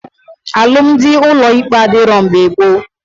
Alụmdi ụlọ ikpe adịrọ mgbe gboo